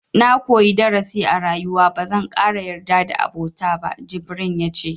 Na koyi darasi a rayuwa, ba zan ƙara yarda da abota ba, jibrin ya ce.